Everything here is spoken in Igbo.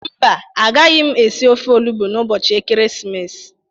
Mba, agaghị m esi ofe olugbụ n'ụbọchị Ekeresimesi.